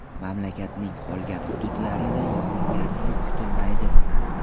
Mamlakatning qolgan hududlarida yog‘ingarchilik kutilmaydi.